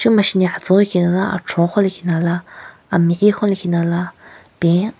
No masheni atsuo lekhinala achuon lekhinala ameyiekhon lekhinala pen.